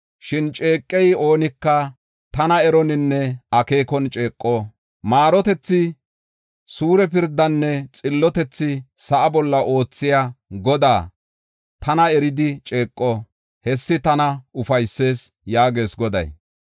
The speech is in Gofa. Shin ceeqiya oonika tana eroninne akeekon ceeqo. Maarotethi, suure pirdanne xillotethi sa7a bolla oothiya Godaa, tana eridi ceeqo; hessi tana ufaysees” yaagees Goday.